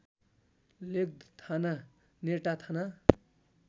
लेक थाना नेटाथाना